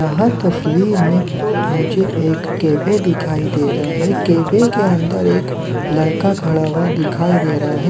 यह तस्वीर मे मुझे एक कैफै दिखाई दे रहा है केफे के अंदर एक लड़का खड़ा हुआ दिखाई दे रहा है।